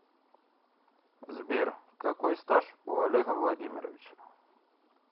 сбер какой стаж у олега владимировича